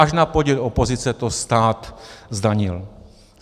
Až na podnět opozice to stát zdanil.